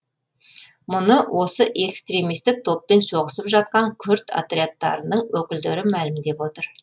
мұны осы экстремистік топпен соғысып жатқан күрд отрядтарының өкілдері мәлімдеп отыр